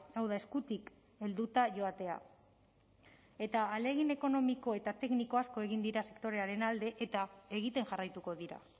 hau da eskutik helduta joatea eta ahalegin ekonomiko eta tekniko asko egin dira sektorearen alde eta egiten jarraituko dira